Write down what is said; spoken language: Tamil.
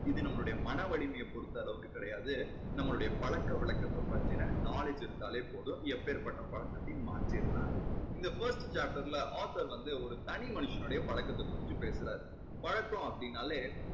இது நம்பளுடைய மன வலிமையை பொறுத்த அளவுக்கு கிடையாது. நம்மளுடைய பழக்க வழக்கத்தை பத்தின knowledge இருந்தாலே போதும். எப்பேற்பட்ட பழக்கத்தையும் மாத்திடலாம்னு இந்த first chapter ல author வந்து ஒரு தனி மனுஷனோடைய பழக்கத்தை பத்தி பேசறாரு. பழக்கம் அப்படீன்னாலே